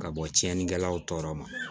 Ka bɔ tiɲɛnikɛlaw tɔɔrɔ ma